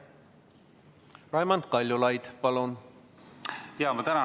Raimond Kaljulaid, palun!